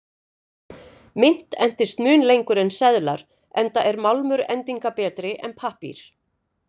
Mynt endist mun lengur en seðlar, enda er málmur endingarbetri en pappír.